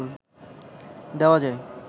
দেওয়া যায়